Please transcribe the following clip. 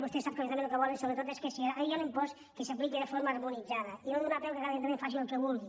vostè sap que els ajuntaments el que volen sobretot és que si hi ha un impost que s’apliqui de forma harmonitzada i no donar peu que cada ajuntament faci el que vulgui